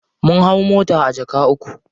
Mun hau mota a jaka uku.